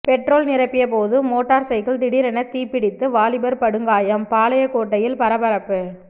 petrol நிரப்பியபோது motor cycle திடீரென தீப்பிடித்து வாலிபர் படுகாயம் பாளையங்கோட்டையில் பரபரப்பு